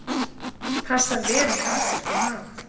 Passar vel með asískum mat.